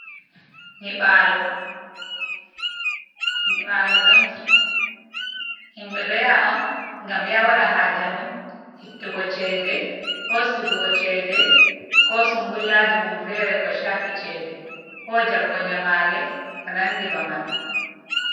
Nyibalo, nyibalo banki himɓe ɗo yaha on ngam ya waɗa haa je mun ittugo chede, resugo chede, ko sungullaji mum fere ko shafi chede, ko jabugo nyamale ko nandi ba man.